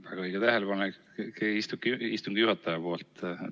Väga õige tähelepanek istungi juhatajalt.